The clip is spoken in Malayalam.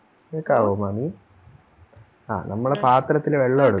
കേക്കാവോ മാമി ആ നമ്മള് പാത്രത്തില് വെള്ളവെടുക്കും